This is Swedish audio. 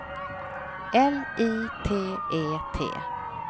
L I T E T